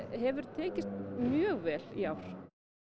hefur tekist mjög vel í ár